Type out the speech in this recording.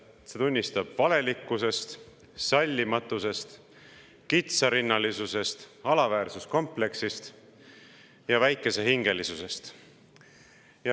See annab tunnistust valelikkusest, sallimatusest, kitsarinnalisusest, alaväärsuskompleksist ja väikesehingelisusest.